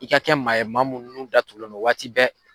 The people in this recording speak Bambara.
I ka kɛ maa ye maa mun nun datugulen no waati bɛɛ.